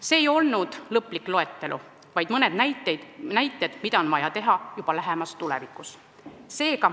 See ei olnud lõplik loetelu, vaid mõned näited, mida on vaja teha juba lähemas tulevikus.